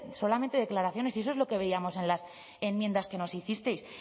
solamente declaraciones y eso es lo que veíamos en las enmiendas que nos hicisteis